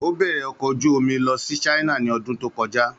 Ó bẹ̀rẹ̀ ọkọ̀ ojú omi lọ sí China ní ọdún tó kọjá.